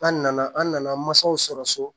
An nana an nana mansaw sɔrɔ so